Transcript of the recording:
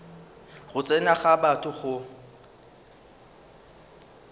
go tsena ga batho go